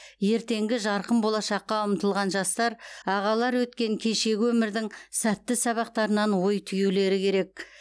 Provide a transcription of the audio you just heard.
ертеңгі жарқын болашаққа ұмтылған жастар ағалар өткен кешегі өмірдің сәтті сабақтарынан ой түюлері керек